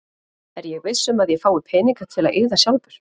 Er ég viss um að ég fái peninga til að eyða sjálfur?